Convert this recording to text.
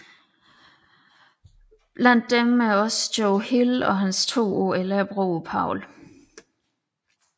Blandt disse er også Joe Hill og hans to år ældre broder Paul